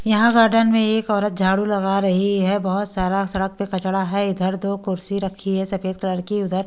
यहां गार्डन में एक औरत झाड़ू लगा रही है बहुत सारा सड़क पे कचड़ा है इधर दो कुर्सी रखी है सफेद कलर की उधर--